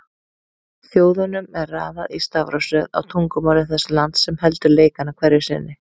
Þjóðunum er raðað í stafrófsröð á tungumáli þess lands sem heldur leikana hverju sinni.